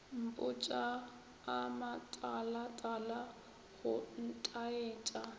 mpotša a matalatala go ntaetša